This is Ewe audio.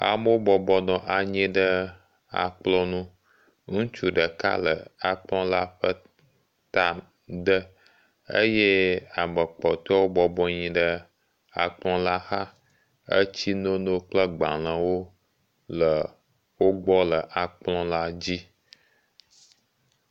Amewo bɔbɔ nɔ anyi ɖe akplɔ̃ nu. Ŋutsu ɖeka le akplɔ̃la ƒe ta de eye ame kpɔtɔewo bɔbɔ nyi ɖe akplɔ̃la xa. Etsinono kple gbalẽwo le wogbɔ le akplɔ̃la dzi.